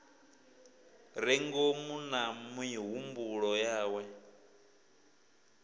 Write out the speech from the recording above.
re ngomu na mihumbulo yawe